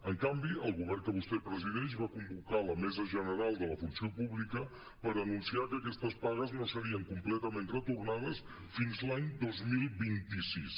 en canvi el govern que vostè presideix va convocar la mesa general de la funció pública per anunciar que aquestes pagues no serien completament retornades fins a l’any dos mil vint sis